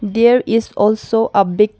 there is also a big--